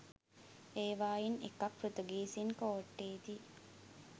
ඒවායින් එකක් පෘතුගීසීන් කෝට්ටේ දී